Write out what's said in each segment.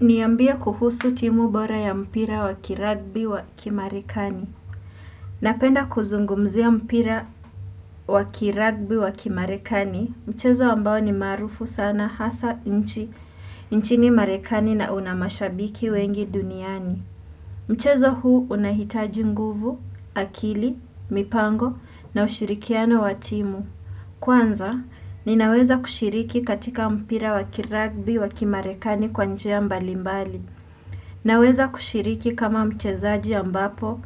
Niambie kuhusu timu bora ya mpira wa kirugby wa kimarekani. Napenda kuzungumzia mpira wa kirugby wakimarekani mchezo ambao ni maarufu sana hasa nchini marekani na una mashabiki wengi duniani. Mchezo huu unahitaji nguvu, akili, mipango na ushirikiano wa timu. Kwanza, ninaweza kushiriki katika mpira wakiragbi wakimarekani kwa njia mbalimbali. Naweza kushiriki kama mchezaji ambapo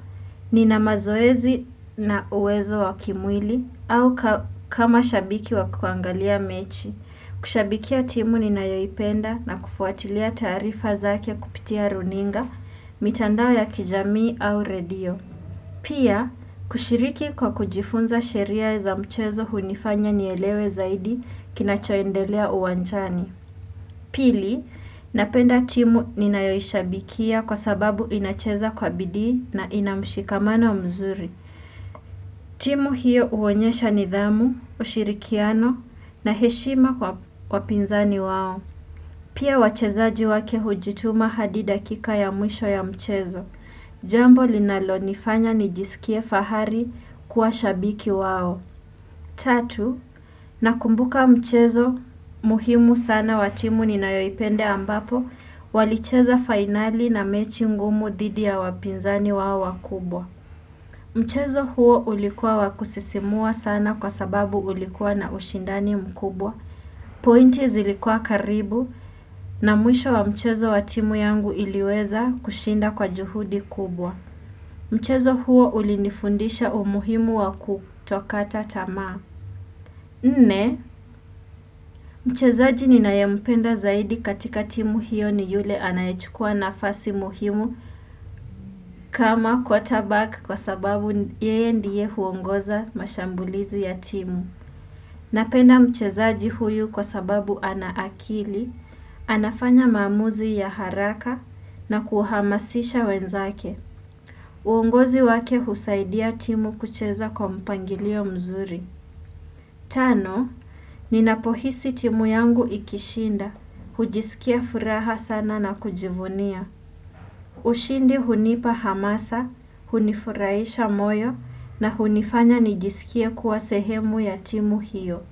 nina mazoezi na uwezo wa kimwili au kama shabiki wa kuangalia mechi. Kushabikia timu ninayoipenda na kufuatilia taarifa zake kupitia runinga, mitandao ya kijamii au redio. Pia, kushiriki kwa kujifunza sheria za mchezo hunifanya nielewe zaidi kinachoendelea uwanjani. Pili, napenda timu ninayoishabikia kwa sababu inacheza kwa bidii na ina mshikamano mzuri. Timu hiyo uonyesha nidhamu, ushirikiano na heshima kwa wapinzani wao. Pia wachezaji wake hujituma hadi dakika ya mwisho ya mchezo. Jambo linalonifanya nijisikie fahari kuwa shabiki wao. Tatu, nakumbuka mchezo muhimu sana wa timu ninayoipenda ambapo walicheza fainali na mechi ngumu dhidi ya wapinzani wao wakubwa. Mchezo huo ulikuwa wa kusisimua sana kwa sababu ulikuwa na ushindani mkubwa. Pointi zilikua karibu na mwisho wa mchezo wa timu yangu iliweza kushinda kwa juhudi kubwa. Mchezo huo ulinifundisha umuhimu wa kutokata tamaa. Nne, mchezaji ninayempenda zaidi katika timu hiyo ni yule anayechukua nafasi muhimu kama kwa tabaka kwa sababu yeye ndiye huongoza mashambulizi ya timu. Napenda mchezaji huyu kwa sababu ana akili, anafanya maamuzi ya haraka na kuhamasisha wenzake. Uongozi wake husaidia timu kucheza kwa mpangilio mzuri. Tano, ninapohisi timu yangu ikishinda, hujisikia furaha sana na kujivunia. Ushindi hunipa hamasa, hunifuraisha moyo na hunifanya nijisikie kuwa sehemu ya timu hiyo.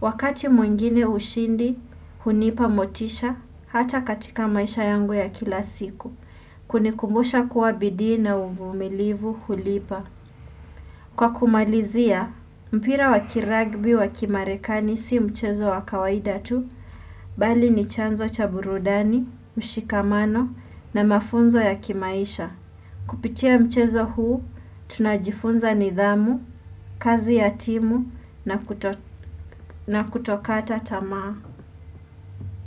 Wakati mwengine ushindi, hunipa motisha hata katika maisha yangu ya kila siku. Kunikumbusha kuwa bidii na uvumilivu hulipa. Kwa kumalizia, mpira wa kirugby wa kimarekani si mchezo wa kawaida tu, bali ni chanzo cha burudani, mshikamano na mafunzo ya kimaisha. Kupitia mchezo huu, tunajifunza nidhamu, kazi ya timu na kutokata tamaa.